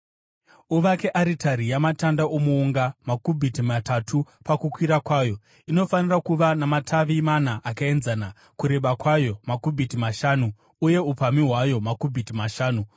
“Uvake aritari yamatanda omuunga, makubhiti matatu pakukwirira kwayo; inofanira kuva namativi mana akaenzana, kureba kwayo makubhiti mashanu uye upamhi hwayo makubhiti mashanu.